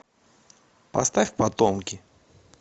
поставь потомки